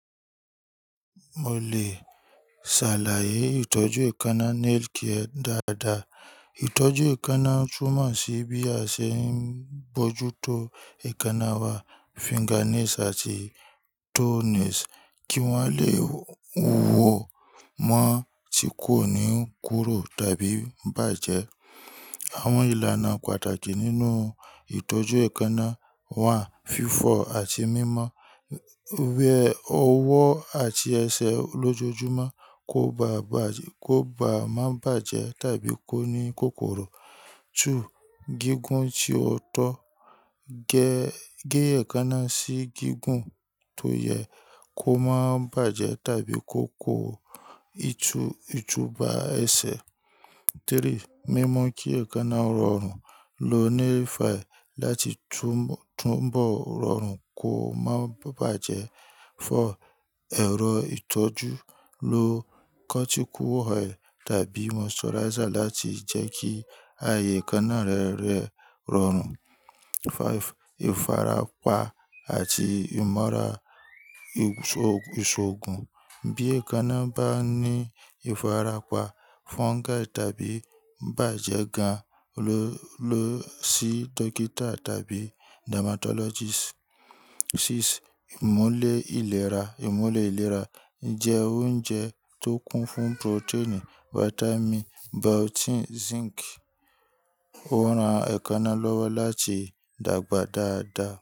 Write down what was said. Mo lè sàlàyé ìtọ́jú èékánná nail care dáadáa. Ìtọ́jú èékánná túmọ̀ sí bí a ṣe ń bójú tó èékánná wa, fingernails àti toenails, kí wọ́n lè wó mọ́ tí kò ní kúró tàbí bàjẹ́. Àwọn ìlànà pàtàkì nínú ìtọ́jú èékánná wà: fífọ̀ àti mímọ́, wẹ ọwọ́ àti ẹsẹ̀ lójoojúmọ́ kó bá má bàjẹ́ tàbí kó ní kòkòrò. Two, gígùn tí ó tọ́, gé èékánná sí gígùn tó yẹ kó má bàjẹ́ tàbí kó kó ìtubà ẹsẹ̀. Three, mímọ kí èékánná rọrùn, lo nail file láti túbọ̀ rọrùn kó má bàjẹ́. Four, ẹrọ itọju, lo cuticle oil tabi moisturizer lati jẹ ki aye eekanà re rọrun Five, ìfarapa àti ìmọ̀ra ìṣòògùn, bí èékánná bá ní ìfarapa, fungal tàbí bàjẹ́ gan-an, lọ sí dókítà tàbí dermatologist. Six, ìmùle ìlera, ìmùle ìlera jẹ́ oúnjẹ tó kún fún protein, vitamin, biotin, zinc ó ran èékánná lọ́wọ́ láti dàgbà dáadáa.